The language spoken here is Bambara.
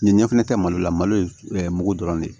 Ɲɛ fɛnɛ tɛ malo la malo ye mugu dɔrɔn de ye